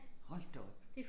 Hold da op